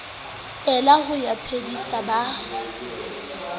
ela ho ya tshedisa ba